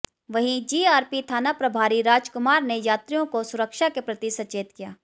वहीं जीआरपी थाना प्रभारी राजकुमार ने यात्रियों को सुरक्षा के प्रति सचेत किया